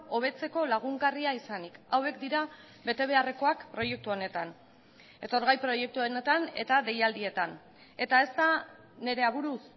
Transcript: hobetzeko lagungarria izanik hauek dira bete beharrekoak proiektu honetan etorgai proiektuetan eta deialdietan eta ez da nire aburuz